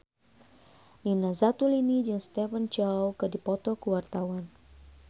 Nina Zatulini jeung Stephen Chow keur dipoto ku wartawan